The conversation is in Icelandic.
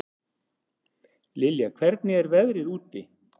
Liljá, hvernig er veðrið úti?